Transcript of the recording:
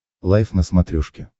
лайф на смотрешке